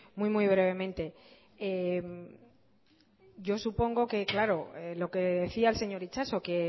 muy muy brevemente yo supongo que claro lo que decía el señor itxaso que